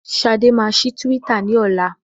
Ṣadé máa ṣí Twitter ní ọlá.